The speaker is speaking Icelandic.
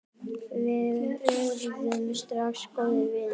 Við urðum strax góðir vinir.